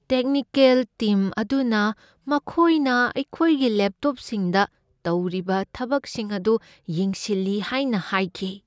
Technical team ꯑꯗꯨꯅ ꯃꯈꯣꯏꯅ ꯑꯩꯈꯣꯏꯒꯤ ꯂꯦꯞꯇꯣꯞꯁꯤꯡꯗ ꯇꯧꯔꯤꯕ ꯊꯕꯛꯁꯤꯡ ꯑꯗꯨ ꯌꯦꯡꯁꯤꯜꯂꯤ ꯍꯥꯏꯅ ꯍꯥꯏꯈꯤ꯫